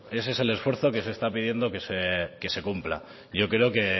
ese es el esfuerzo que se está pidiendo que se cumpla yo creo que